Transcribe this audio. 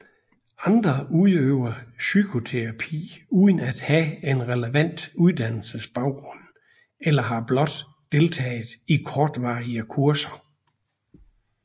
Andre udøver psykoterapi uden at have en relevant uddannelsesbaggrund eller har blot deltaget i kortvarige kurser